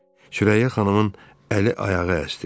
Sürəyya xanımın əli ayağı əsdi.